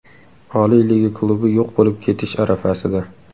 Oliy liga klubi yo‘q bo‘lib ketish arafasida.